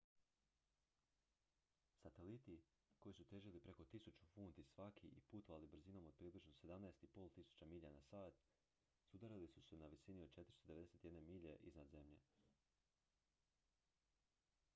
sateliti koji su težili preko 1.000 funti svaki i putovali brzinom od približno 17.500 milja na sat sudarili su se na visini od 491 milje iznad zemlje